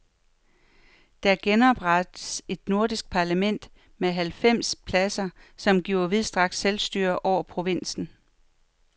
Der genoprettes et nordirsk parlament med halvfems pladser, som gives vidtstrakt selvstyre over provinsen.